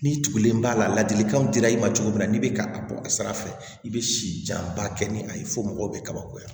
Ni tugulen b'a la ladilikanw dira i ma cogo min na n'i bɛ ka a bɔ a sira fɛ i bɛ si janba kɛ ni a ye fo mɔgɔw bɛ kabakoya